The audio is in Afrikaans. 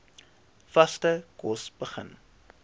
vaste kos begin